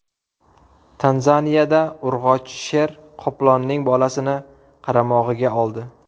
Tanzaniyada urg‘ochi sher qoplonning bolasini qaramog‘iga oldi.